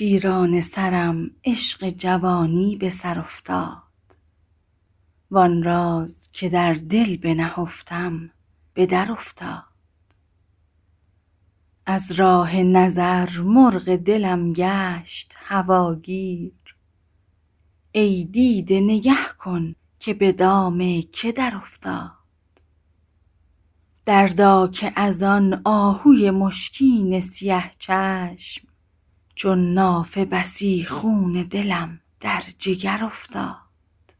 پیرانه سرم عشق جوانی به سر افتاد وآن راز که در دل بنهفتم به درافتاد از راه نظر مرغ دلم گشت هواگیر ای دیده نگه کن که به دام که درافتاد دردا که از آن آهوی مشکین سیه چشم چون نافه بسی خون دلم در جگر افتاد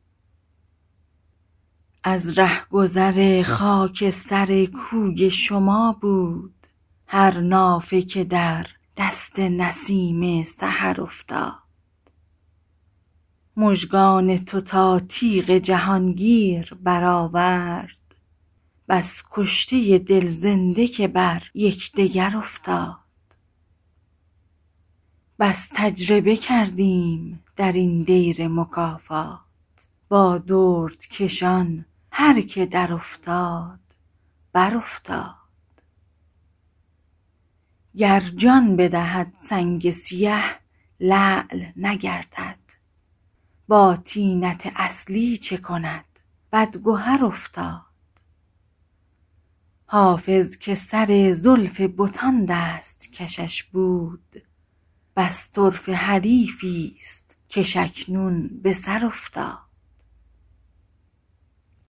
از رهگذر خاک سر کوی شما بود هر نافه که در دست نسیم سحر افتاد مژگان تو تا تیغ جهانگیر برآورد بس کشته دل زنده که بر یکدگر افتاد بس تجربه کردیم در این دیر مکافات با دردکشان هر که درافتاد برافتاد گر جان بدهد سنگ سیه لعل نگردد با طینت اصلی چه کند بدگهر افتاد حافظ که سر زلف بتان دست کشش بود بس طرفه حریفی ست کش اکنون به سر افتاد